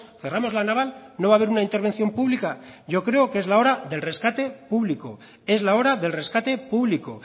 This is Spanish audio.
cerramos la naval no va a haber una intervención pública yo creo que es la hora del rescate público es la hora del rescate público